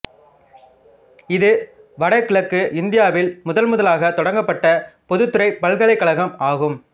இது வட கிழக்கு இந்தியாவில் முதன்முதலாக தொடங்கப்பட்ட பொதுத்துறைப் பல்கலைக்கழகம் ஆகும்